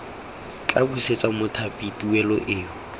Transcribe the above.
tla busetsa mothapi tuelo eo